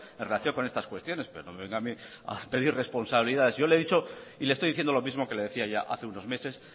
en relación con estas cuestiones pero no me venga a mí a pedir responsabilidades yo le he dicho y le estoy diciendo lo mismo que le decía hace unos meses